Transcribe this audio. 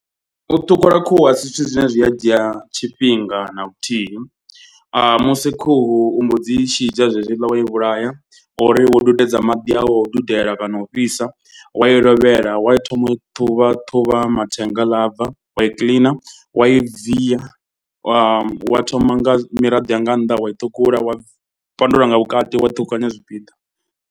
U ṱhukhula khuhu a si zwithu zwine zwi a dzhia tshifhinga na luthihi. Musi khuhu u mbo dzii shidzha zwezwiḽa wa i vhulaya uri wo dudedza maḓi a u o dudela kana o fhisa. Wa i lovhela wa thoma u ṱhuvha ṱhuvha mathenga haḽa abva wa i kiḽina wa i bvisa. Wa thoma nga miraḓo ya nga nnḓa wa i ṱhukhula wai fhandula nga vhukati wa ṱhukhukanya zwipiḓa.